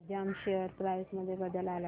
Digjam share price मध्ये बदल आलाय का